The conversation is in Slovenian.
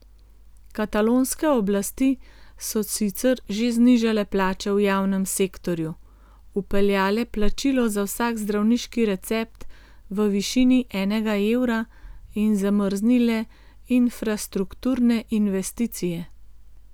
Katalonske oblasti so sicer že znižale plače v javnem sektorju, vpeljale plačilo za vsak zdravniški recept v višini enega evra in zamrznile infrastrukturne investicije.